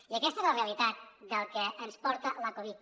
i aquesta és la realitat del que ens porta la covid